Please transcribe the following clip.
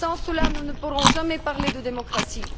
Sans cela nous ne pourrons jamais parler de démocratie.